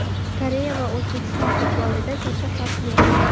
Koreya va O‘zbekiston futbolida katta farq yo‘q.